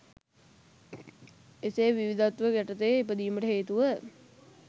එසේ විවිධත්ව යටතේ ඉපදීමට හේතුව